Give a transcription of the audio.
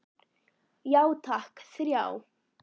Já takk, þrjá.